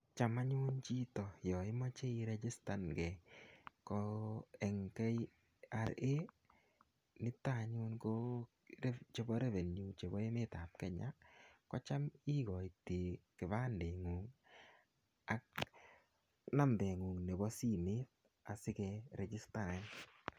Cham anyun chito ya imache irejistangei, ko eng' KRA nito anyun chepo revenue chepo emet ap Kenya, ko cham ikaitai kipandeng'ung' ak nambeng'ung' nepo simet asi kerejistanin.